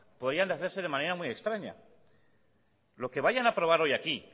podrían hacerse de manera muy extraña lo que vayan a aprobar hoy aquí